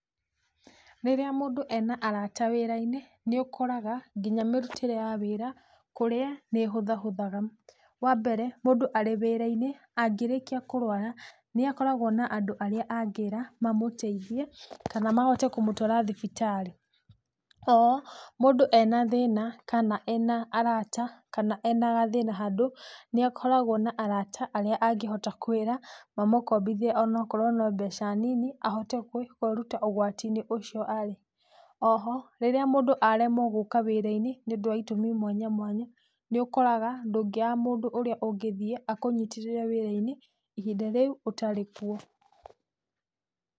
Rĩrĩa mũndũ ena arata wĩrainĩ nĩ ũkoraga nginya mĩrutĩre ya wĩra kũrĩa nĩĩhũthahũthaga, wambere mũndũ arĩ wĩrainĩ angĩrĩkia kũrwara nĩ akoragwo na andũ arĩa angĩra mamũteithie kana mahote kũmũtwara thibitarĩ, oho mũndũ ena thĩna kana ena arata kana ena gathĩna handũ nĩakoragwo na rata arĩa angĩhota kwĩra mamukombithie onakorwo no mbeca nini ahote kwĩruta ũgwatinĩ ũcio arĩ, oho rirĩa mũndũ aremwo gũka wĩrainĩ nĩũndũ wa itũmi mwanya mwanya, nĩũkoraga ndũngĩaga mũndũ ũrĩa ũngĩthie akunyitĩrĩre wĩrainĩ ihinda rĩu ũtarĩ kuo.